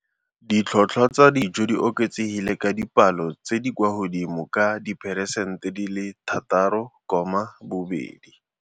Ditlhotlhwa tsa dijo di oketsegile ka dipalo tse di kwa godimodimo ka diperesente di le 6.2.